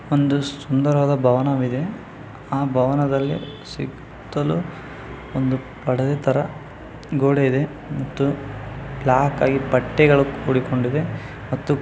ಒಂದು ಸುಂದರವಾದ ಭವನವಿದೆ ಆ ಭವನದಲ್ಲಿ ಸುತ್ತಲು ಒಂದು ಪಡದೆ ತರ ಗೋಡೆ ಇದೆ ಮತ್ತು ಬ್ಲಾಕ್ ಅಲ್ಲಿ ಬಟ್ಟೆಗಳು ಕೂಡಿಕೊಂಡಿವೆ ಮತ್ತು --